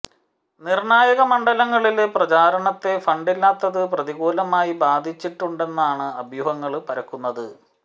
നിര്ണായക മണ്ഡലങ്ങളിലെ പ്രചരണത്തെ ഫണ്ടില്ലാത്തത് പ്രതികൂലമായി ബാധിച്ചിട്ടുണ്ടെന്നാണ് അഭ്യൂഹങ്ങള് പരക്കുന്നത്